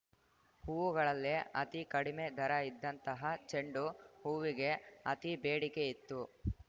ಹೂವುಗಳಲ್ಲೇ ಅತೀ ಕಡಿಮೆ ದರ ಇದ್ದಂತಹ ಚೆಂಡು ಹೂವಿಗೆ ಅತೀ ಬೇಡಿಕೆ ಇತ್ತು